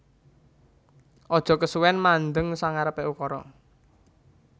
Aja kesuwen mandheng sangarepe ukura